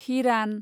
हिरान